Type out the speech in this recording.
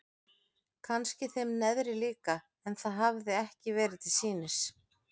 Kannski þeim neðri líka en það hafði ekki verið til sýnis.